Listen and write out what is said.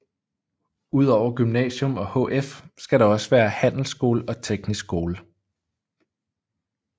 Udover gymnasium og HF skal der også være handelsskole og teknisk skole